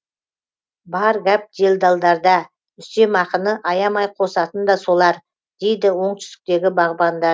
бар гәп делдалдарда үстемақыны аямай қосатын да солар дейді оңтүстіктегі бағбанда